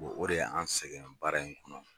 O de ye anw sɛgɛn baara in kɔnɔ